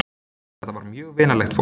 Þetta var mjög vinalegt fólk.